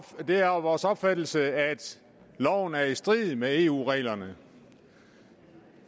at det er vores opfattelse at loven er i strid med eu reglerne